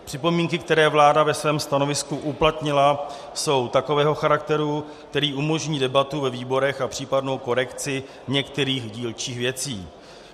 Připomínky, které vláda ve svém stanovisku uplatnila, jsou takového charakteru, který umožní debatu ve výborech a případnou korekci některých dílčích věcí.